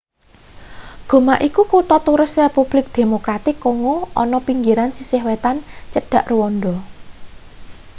goma iku kutha turis republik demokratik kongo ana pinggiran sisih wetan cedhak rwanda